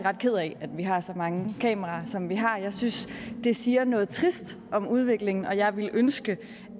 ked af at vi har så mange kameraer som vi har jeg synes det siger noget trist om udviklingen og jeg ville ønske